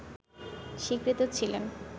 স্বীকৃত ছিলেন